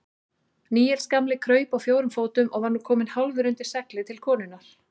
Níels gamli kraup á fjórum fótum og var nú kominn hálfur undir seglið til konunnar.